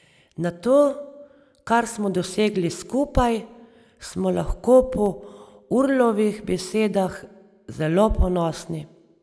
Na to, kar smo dosegli skupaj, smo lahko po Urlovih besedah zelo ponosni.